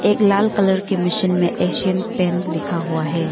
एक लाल कलर के मशीन में एशियन पेंट लिखा हुआ है।